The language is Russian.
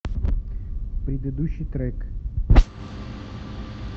предыдущий трек